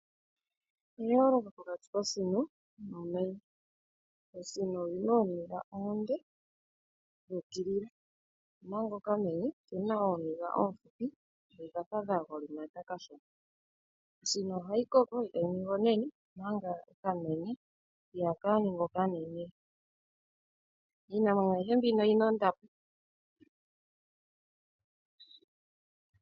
Opu na eyooloko pokati kosino nomenye. Osino oyi na ooniga oonde dhuukilila omanga okamenye oke na ooniga oofupi dho odhafa dha golimata kashona. Osino ohayi koko e ta yi ningi onene manga okamenye iha ka ningi oka nene. Iinamwenyo ayihe mbino oyi na ondapo.